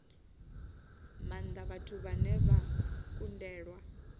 maanda vhathu vhane vha kundelwa